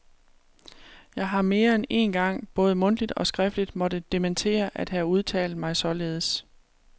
Jeg har mere end én gang både mundtligt og skriftligt måtte dementere at have udtalt mig således.